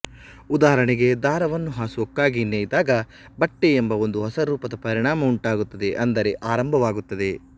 ಉದಾಹರಣೆಗೆ ದಾರವನ್ನು ಹಾಸುಹೊಕ್ಕಾಗಿ ನೆಯ್ದಾಗ ಬಟ್ಟೆ ಎಂಬ ಒಂದು ಹೊಸ ರೂಪದ ಪರಿಣಾಮ ಉಂಟಾಗುತ್ತದೆ ಅಂದರೆ ಆರಂಭವಾಗುತ್ತದೆ